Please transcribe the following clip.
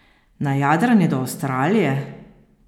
Na jadranje do Avstralije?